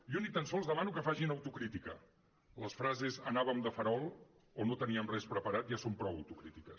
jo ni tan sols demano que facin autocrítica les frases anàvem de farol o no teníem res preparat ja són prou autocrítiques